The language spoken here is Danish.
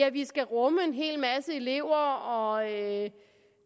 at vi skal rumme en hel masse elever og at